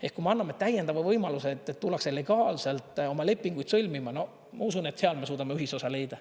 Ehk kui me anname täiendava võimaluse, et tullakse legaalselt oma lepinguid sõlmima, no ma usun, et seal me suudame ühisosa leida.